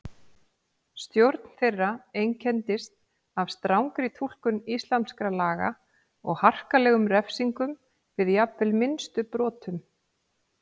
Stjórn þeirra einkenndist af strangri túlkun íslamskra laga og harkalegum refsingum við jafnvel minnstu brotum.